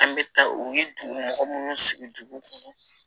An bɛ taa u ye dugu mɔgɔ munnu sigi dugu kɔnɔ